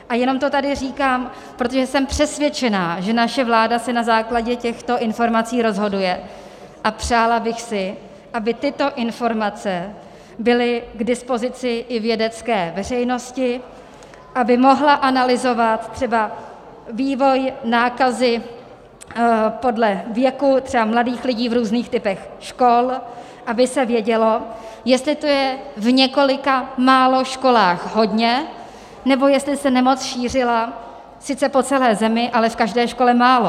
A jenom to tady říkám, protože jsem přesvědčená, že naše vláda se na základě těchto informací rozhoduje, a přála bych si, aby tyto informace byly k dispozici i vědecké veřejnosti, aby mohla analyzovat třeba vývoj nákazy podle věku třeba mladých lidí v různých typech škol, aby se vědělo, jestli to je v několika málo školách hodně, nebo jestli se nemoc šířila sice po celé zemi, ale v každé škole málo.